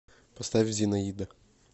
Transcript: поставь зинаида